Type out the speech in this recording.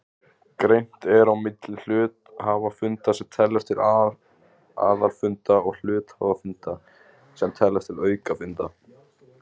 Greint er á milli hluthafafunda sem teljast til aðalfunda og hluthafafunda sem teljast til aukafunda.